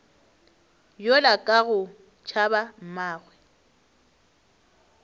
yola ka go tšhaba mmagwe